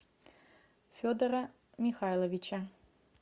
федора михайловича